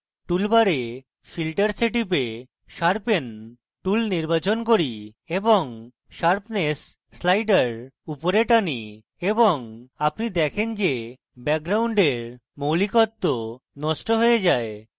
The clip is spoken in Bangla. তাই আমি tool bar filters এ টিপে sharpen tool নির্বাচন করি এবং sharpness slider উপরে টানি এবং আপনি দেখেন যে ব্যাকগ্রাউন্ডের মৌলিকত্ব নষ্ট হয়ে যায়